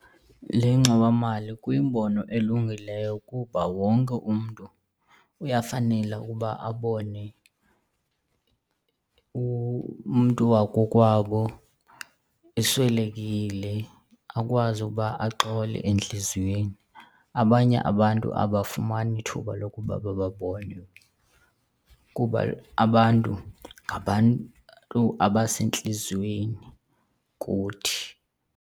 Le ngxowamali kuyimbono elungileyo kuba wonke umntu uyafanela ukuba abone umntu wakokwabo eswelekile akwazi ukuba axole entliziyweni, abanye abantu abafumani ithuba lokuba bababone. Kuba abantu ngabantu abasentliziyweni kuthi.